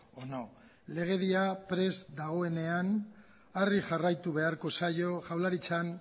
o no legedia prest dagoenean horri jarraitu beharko zaio jaurlaritzaren